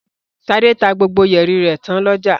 Ṣadé tá gbogbo yẹ̀rì rẹ̀ tán lọ́jà.